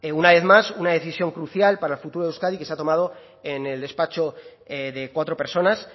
una vez más una decisión crucial para futuro de euskadi que se ha tomado en el despacho de cuatro personas